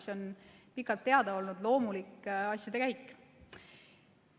See on pikalt teada olnud loomulik asjade käik.